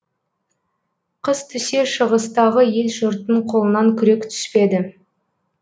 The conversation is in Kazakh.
қыс түсе шығыстағы ел жұрттың қолынан күрек түспеді